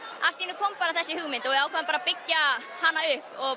allt í einum kom bara þessi hugmynd og við ákváðum að byggja hana upp og